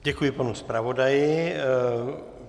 Děkuji panu zpravodaji.